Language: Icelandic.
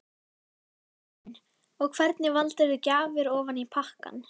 Karen: Og hvernig valdirðu gjafir ofan í pakkann?